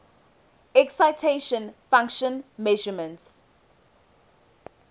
excitation function measurements